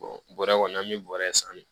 bɔrɛ kɔni an bɛ bɔrɛ san